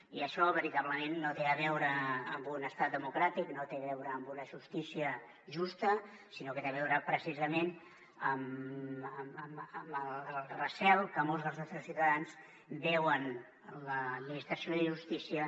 i això veritablement no té a veure amb un estat democràtic no té a veure amb una justícia justa sinó que té a veure precisament amb el recel que molts dels nostres ciutadans veuen en l’administració de justícia